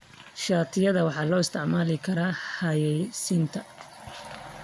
Shatiyada waxaa loo isticmaali karaa xayeysiinta.